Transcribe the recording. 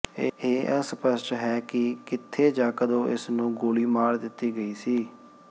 ਇਹ ਅਸਪਸ਼ਟ ਹੈ ਕਿ ਕਿੱਥੇ ਜਾਂ ਕਦੋਂ ਇਸ ਨੂੰ ਗੋਲੀ ਮਾਰ ਦਿੱਤੀ ਗਈ ਸੀ